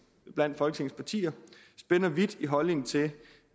partier spænder vidt i holdningen til